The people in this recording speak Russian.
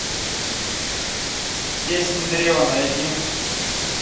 песнь древа найди